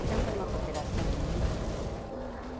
Então, foi uma cooperação muito, muito boa.